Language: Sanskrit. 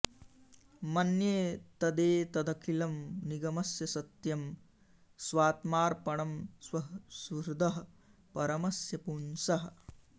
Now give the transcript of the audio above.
मन्ये तदेतदखिलं निगमस्य सत्यं स्वात्मार्पणं स्वसुहृदः परमस्य पुंसः